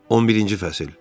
11-ci fəsil.